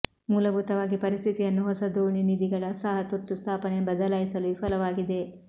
ಮೂಲಭೂತವಾಗಿ ಪರಿಸ್ಥಿತಿಯನ್ನು ಹೊಸ ದೋಣಿ ನಿಧಿಗಳ ಸಹ ತುರ್ತು ಸ್ಥಾಪನೆ ಬದಲಾಯಿಸಲು ವಿಫಲವಾಗಿದೆ